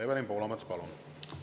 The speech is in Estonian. Evelin Poolamets, palun!